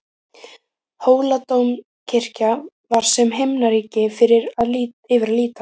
Hóladómkirkja var sem himnaríki yfir að líta.